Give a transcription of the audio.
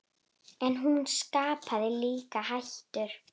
En hún skapaði líka hættur.